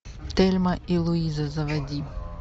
тельма и луиза заводи